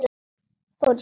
Fór í sjó.